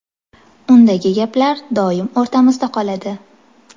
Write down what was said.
Undagi gaplar doim o‘rtamizda qoladi.